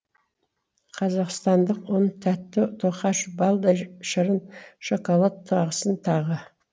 қазақстандық ұн тәтті тоқаш балдай шырын шоколад тағысын тағы